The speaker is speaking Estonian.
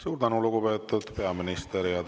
Suur tänu, lugupeetud peaminister!